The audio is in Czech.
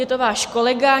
Je to váš kolega.